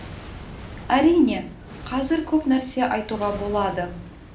әрине қазір көп нәрсе айтуға болады